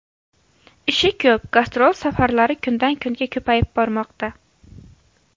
Ishi ko‘p, gastrol safarlari kundan-kunga ko‘payib bormoqda.